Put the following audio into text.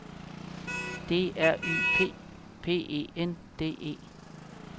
D R Y P P E N D E